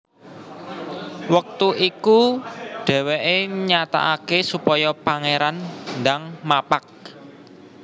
Wektu iku dhèwèké nyatakaké supaya Pangéran ndang mapag